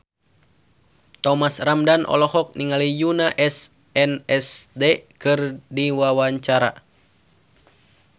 Thomas Ramdhan olohok ningali Yoona SNSD keur diwawancara